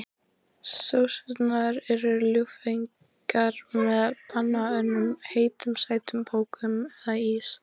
Sósurnar eru ljúffengar með banönum, heitum sætum bökum eða ís.